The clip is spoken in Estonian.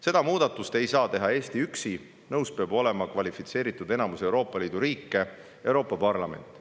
Seda muudatust ei saa teha Eesti üksi, nõus peab olema kvalifitseeritud enamus Euroopa Liidu riike ja Euroopa Parlament.